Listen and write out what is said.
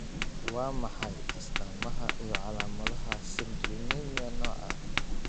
Waa maxay astamaha iyo calaamadaha Citrullinemia nooca I?